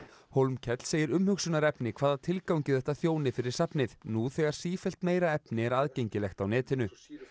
Hólmkell segir umhugsunarefni hvaða tilgangi þetta þjóni fyrir safnið nú þegar sífellt meira efni er aðgengilegt á netinu